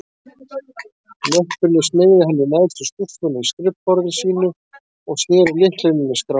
Möppunni smeygði hann í neðstu skúffuna í skrifborði sínu, og sneri lyklinum í skránni.